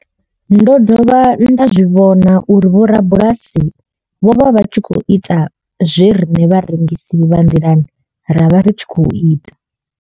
Ndo dovha nda zwi vhona uri vhorabulasi vho vha vha tshi khou ita zwe riṋe vharengisi vha nḓilani ra vha ri tshi khou ita.